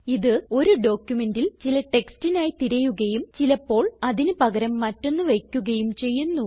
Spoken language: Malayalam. ഇത് ഒരു ഡോക്യുമെന്റിൽ ചില ടെക്സ്റ്റിനായി തിരയുകയും ചിലപ്പോൾ അതിന് പകരം മറ്റൊന്ന് വയ്ക്കുകയും ചെയ്യുന്നു